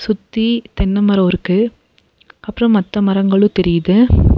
யுத்தி தென்ன மரோ இருக்கு அப்றோ மத்த மரங்களு தெரியுது.